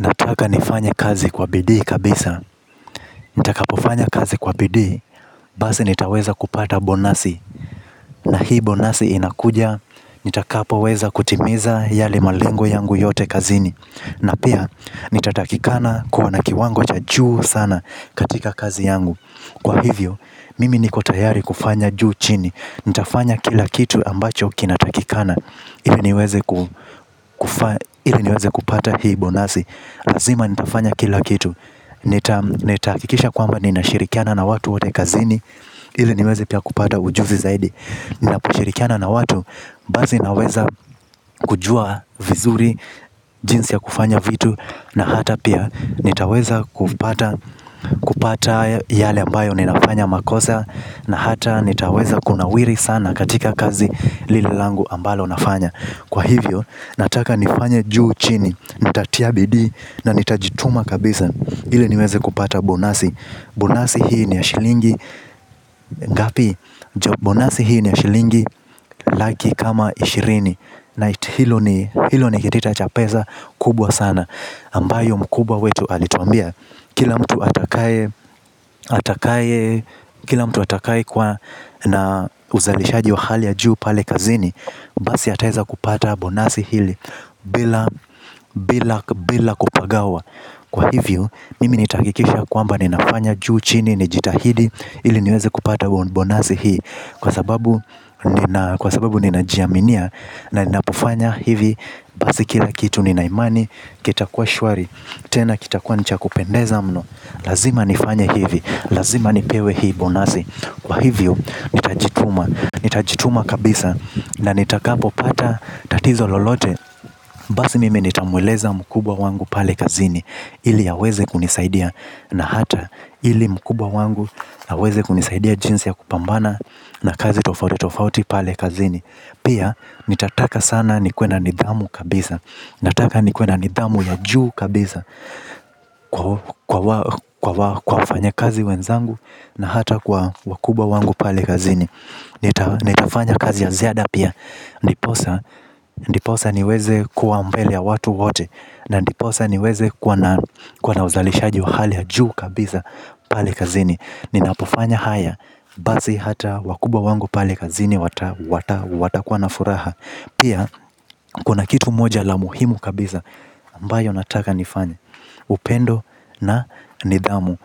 Nataka nifanye kazi kwa bidii kabisa. Nitaka pofanya kazi kwa bidii. Basi nitaweza kupata bonasi. Na hii bonasi inakuja. Nitakapoweza kutimiza yale malengo yangu yote kazini. Na pia, nitatakikana kuwa na kiwango cha juu sana katika kazi yangu. Kwa hivyo, mimi niko tayari kufanya juu chini. Nitafanya kila kitu ambacho kinatakikana. Iliniweze kupata hii bonasi lazima nitafanya kila kitu. Nitaakikisha kwamba nina shirikiana na watu wotekazini. Ile nimezi pia kupata ujuzi zaidi. Ninaposhirikiana na watu basi naweza kujua vizuri jinsi ya kufanya vitu na hata pia nitaweza kupata kupata yale ambayo ninafanya makosa. Na hata nitaweza kunawiri sana katika kazi lililangu ambalo nafanya. Kwa hivyo nataka nifanya juu chini. Nitatia bidii na nitajituma kabisa. Hile niweze kupata bonasi bonasi hii ni ya shilingi ngapi bonasi hii ni ya shilingi. Laki kama ishirini. Na hilo ni kitita cha pesa kubwa sana ambayo mkubwa wetu alituambia. Kila mtu atakaye kila mtu atakaye kwa na uzalishaji wa hali ya juu pale kazini. Basi ataeza kupata bonasi hili. Bila kupagawa. Kwa hivyo mimi nitakikisha kwamba ninafanya juu chini. Nijitahidi ili niweze kupata bonasi hii. Kwa sababu ninajiaminia na ninafanya hivi. Basi kila kitu ninaimani. Kita kwa shwari. Tena kita kwa ni cha kupendeza mno. Lazima nifanya hivi. Lazima nipewe hii bonasi. Kwa hivyo nitajituma nitajituma kabisa. Na nitakapo pata tatizo lolote. Basi mimi nitamweleza mkubwa wangu pale kazini. Ili aweze kunisaidia. Na hata ili mkubwa wangu na weze kunisaidia jinsi ya kupambana na kazi tofauti tofauti pale kazini. Pia nitataka sana nikuwe na nidhamu kabisa. Nataka nikuwe na nidhamu ya juu kabisa. Kwa wafanya kazi wenzangu na hata kwa wakubwa wangu pale kazini nitafanya kazi ya ziada pia. Ndiposa niweze kuambele ya watu wote. Na ndiposa niweze kwa na uzalishaji wa hali ya juu kabisa pale kazini. Ninapofanya haya basi hata wakubwa wangu pali kazini watakuwa na furaha. Pia kuna kitu moja la muhimu kabisa ambayo nataka nifanya. Upendo na nidhamu.